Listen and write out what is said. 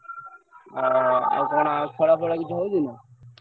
ଆଁ ଆଉ କଣ ଆଉ ଖେଳ ଫେଳ କିଛି ହଉଛି ନା?